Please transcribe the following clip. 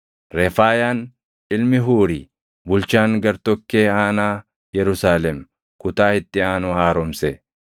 Refaayaan ilmi Huuri, bulchaan gartokkee aanaa Yerusaalem kutaa itti aanu haaromse.